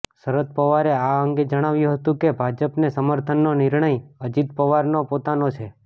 શરદ પવારે આ અંગે જણાવ્યું હતું કે ભાજપને સમર્થનનો નિર્ણય અજિત પવારનો પોતાનો છે